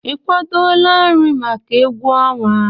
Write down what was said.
Ị kwadọla nri maka egwu ọnwa?